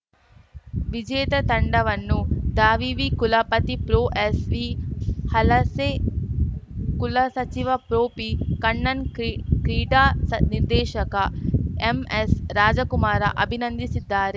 ವಿಜೇತ ತಂಡವನ್ನು ದಾವಿವಿ ಕುಲಪತಿ ಪ್ರೊಎಸ್‌ವಿಹಲಸೆ ಕುಲಸಚಿವ ಪ್ರೊಪಿಕಣ್ಣನ್‌ಕ್ರಿ ಕ್ರೀಡಾ ನಿರ್ದೇಶಕ ಎಂಎಸ್‌ರಾಜಕುಮಾರ ಅಭಿನಂದಿಸಿದ್ದಾರೆ